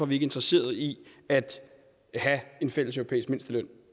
vi ikke interesseret i at have en fælles europæisk mindsteløn